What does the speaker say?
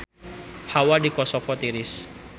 Hawa di Kosovo tiris